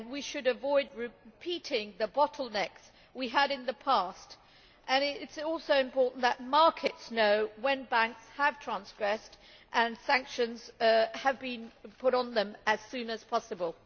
We should avoid repeating the bottlenecks we had in the past. It is also important that markets know when banks have transgressed, and that sanctions have been put on them, as soon as possible.